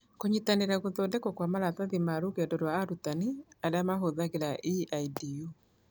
Kũnyitanĩra gũthondekwo kwa maratathi ma rũgendo rwa arutani arĩa mahũthagĩra EIDU.